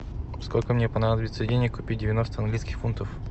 сколько мне понадобится денег купить девяносто английских фунтов